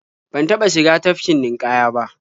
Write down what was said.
Ban taɓa shiga tafkin ninƙaya ba.